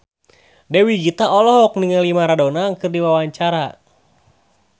Dewi Gita olohok ningali Maradona keur diwawancara